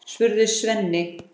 spurði Svenni.